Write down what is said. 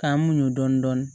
K'an muɲun dɔɔni dɔɔni